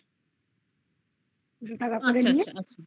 আচ্ছা আচ্ছা আচ্ছা